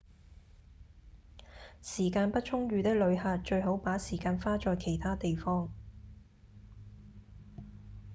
時間不充裕的旅客最好把時間花在其他地方